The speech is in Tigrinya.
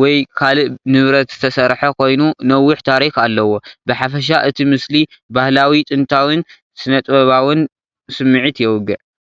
ወይ ካልእ ንብረት ዝተሰርሐ ኮይኑ ነዊሕ ታሪኽ ኣለዎ። ብሓፈሻ እቲ ምስሊ ባህላዊ ጥንታዊን ስነ-ጥበባውን ስምዒት የውግዕ።